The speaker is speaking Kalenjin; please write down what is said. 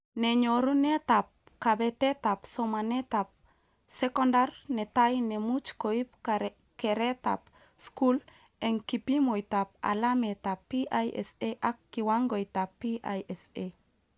Ne nyorunetab kabetetab somatetab sekondar netai nemuch koib keretab skul, eng kipimoitab alametab PISA ak kiwangoitab PISA